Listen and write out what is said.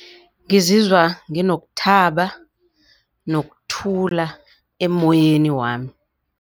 Ngizizwa nginokuthaba nokuthula emoyeni wami.